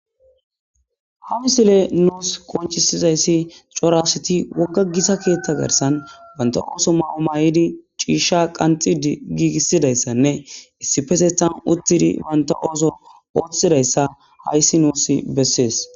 Ha misile nuus konchisizayssi cora asati wogga gita keeththa garsan banta ooso maa7o maay7idi ciisha qanxid giigissidayssanne issipetethan uttidi banta ooso ooththidayssa hayssi nuus bessees.